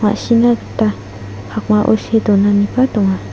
ma·sina gita pakmao see donaniba donga.